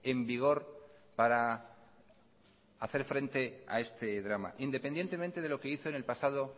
en vigor para hacer frente a este drama independientemente de lo que hizo en el pasado